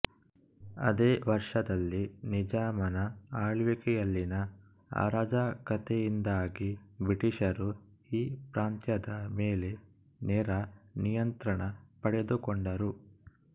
ಆದೇ ವರ್ಷದಲ್ಲಿ ನಿಜಾಮನ ಆಳ್ವಿಕೆಯಲ್ಲಿನ ಅರಾಜಕತೆಯಿಂದಾಗಿ ಬ್ರಿಟೀಷರು ಈ ಪ್ರಾಂತ್ಯದ ಮೇಲೆ ನೇರ ನಿಯಂತ್ರಣ ಪಡೆದುಕೊಂಡರು